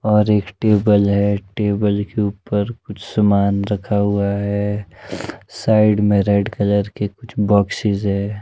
और एक टेबल है टेबल के ऊपर कुछ समान रखा हुआ है साइड में रेड कलर के कुछ बॉक्सेज है।